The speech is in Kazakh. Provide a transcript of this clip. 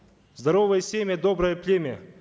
здоровое семя доброе племя